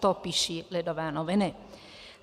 To píší Lidové noviny.